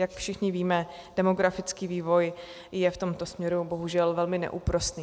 Jak všichni víme, demografický vývoj je v tomto směru bohužel velmi neúprosný.